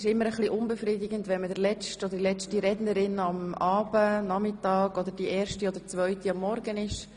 Es ist immer ein bisschen unbefriedigend, wenn man die letzte oder zweitletzte Rednerin am Nachmittag oder Abend oder die erste oder zweite Rednerin am Morgen ist.